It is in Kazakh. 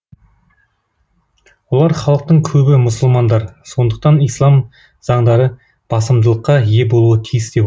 олар халықтың көбі мұсылмандар сондықтан ислам заңдары басымдылыққа ие болуы тиіс деп отыр